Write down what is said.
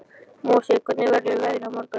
Mosi, hvernig verður veðrið á morgun?